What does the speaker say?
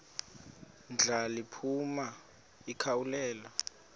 ndla liphuma likhawulele